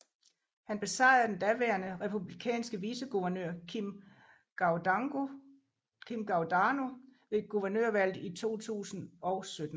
Han besejrede den daværende republikanske viceguvernør Kim Guadagno ved guvernørvalget i 2017